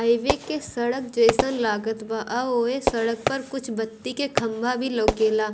Highway के सड़क जैसन लागत बा आ ओय सड़क पर कुछ बत्ती के खम्भा भी लौके ला।